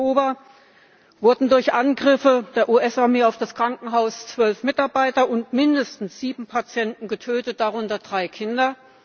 3. Oktober, wurden durch Angriffe der US Armee auf das Krankenhaus 12 Mitarbeiter und mindestens 7 Patienten getötet, darunter drei Kinder.